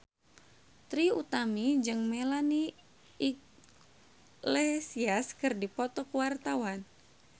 Trie Utami jeung Melanie Iglesias keur dipoto ku wartawan